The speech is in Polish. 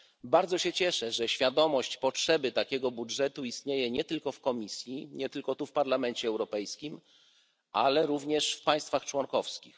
Bardzo się cieszę, że świadomość potrzeby takiego budżetu istnieje nie tylko w Komisji i w Parlamencie Europejskim, ale również w państwach członkowskich.